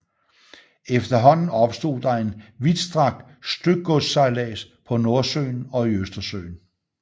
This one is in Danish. Efterhånden opstod der en vidtstrakt stykgodssejlads på Nordsøen og i Østersøen